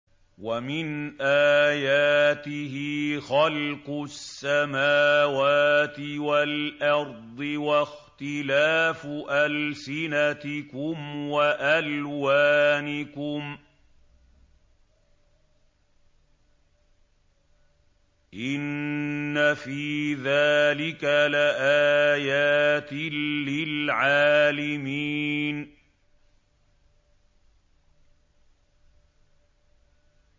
وَمِنْ آيَاتِهِ خَلْقُ السَّمَاوَاتِ وَالْأَرْضِ وَاخْتِلَافُ أَلْسِنَتِكُمْ وَأَلْوَانِكُمْ ۚ إِنَّ فِي ذَٰلِكَ لَآيَاتٍ لِّلْعَالِمِينَ